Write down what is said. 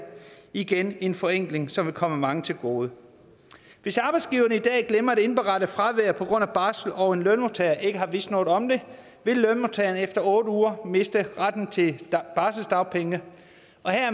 igen en forenkling som vil komme mange til gode hvis arbejdsgiverne i dag glemmer at indberette fravær på grund af barsel og en lønmodtager ikke har vidst noget om det vil lønmodtageren efter otte uger miste retten til barselsdagpenge